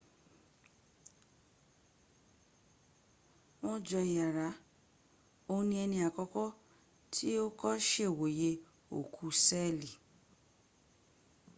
wọn jọ iyàrá òun ní ẹni àkọ́kọ́ tí ó kọ́ sèwòye òòkú sẹ́ẹ̀lì